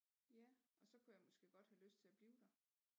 Ja og så kunne jeg måske godt have lyst til at blive der